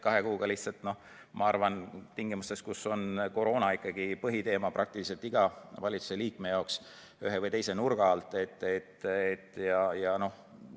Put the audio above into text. Kahe kuuga lihtsalt tingimustes, kus on koroona ikkagi põhiteema praktiliselt iga valitsusliikme jaoks ühe või teise nurga alt,.